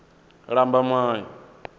lambamai